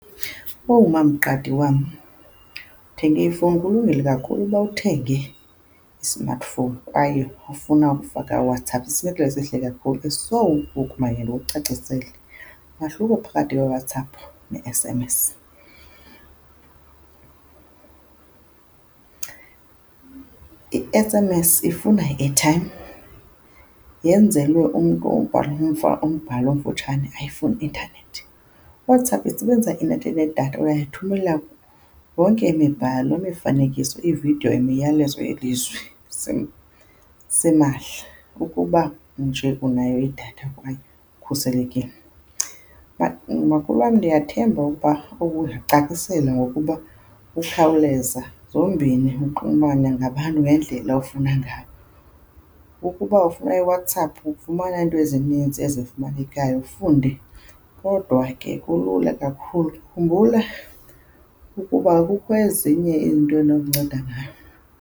Owu, MamQadi wam, uthenge ifowuni. Kulungile kakhulu uba uthenge i-smartphone, kwaye ufuna ukufaka uWhatAapp. Sisinyathelo esihle kakhulu eso. So ngoku makhe ndikucacisele. Umahluko phakathi kwewhatsapp ne-S_M_S, i-S_M_S ifuna i-airtime, yenzelwe umntu obhala umbhalo omfutshane, ayifuni intanethi. IWhatsApp isebenzisa i-network nedatha, uyayithumela yonke imibhalo, imifanekiso, iividiyo, imiyalezo yelizwe. simahla ukuba nje unayo idatha kwaye ukhuselekile. Makhulu wam ndiyathemba ukuba ubuzicacisela ngokuba ukhawuleza zombini uxhumana nabantu ngendlela ofuna ngayo, ukuba ufuna iWhatsApp ufumana iinto ezininzi ezifumanekayo ufunde kodwa ke kulula kakhulu. Khumbula ukuba kukho ezinye iinto enokunceda ngayo.